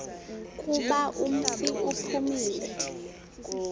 kuba umfi uphumile